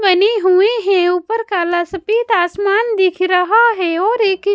बने हुए हैं ऊपर काला सफेद आसमान दिख रहा है और एक--